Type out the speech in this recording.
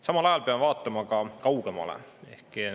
Samal ajal peame vaatama ka kaugemale.